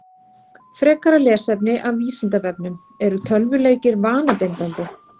Frekara lesefni af Vísindavefnum: Eru tölvuleikir vanabindandi?